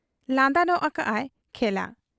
ᱞᱟᱸᱫᱟ ᱧᱚᱜ ᱟᱠᱟᱜ ᱟᱭ ᱠᱷᱮᱞᱟ ᱾